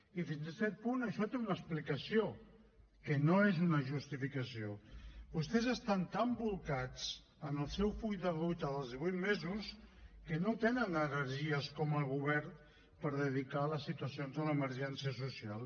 i fins a cert punt això té una explicació que no és una justificació vostès estan tan bolcats en el seu full de ruta dels divuit mesos que no tenen energies com a govern per dedicar a les situacions de l’emergència social